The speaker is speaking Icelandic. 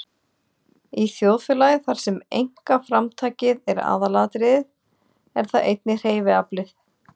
Í þjóðfélagi, þar sem einkaframtakið er aðalatriðið, er það einnig hreyfiaflið.